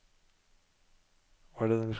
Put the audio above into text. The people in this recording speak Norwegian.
seks fem tre tre trettisju tre hundre og fire